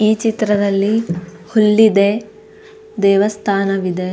ಈ ಚಿತ್ರದಲ್ಲಿ ಹುಲ್ಲಿದೆ ದೇವಸ್ಥಾನ ವಿದೆ.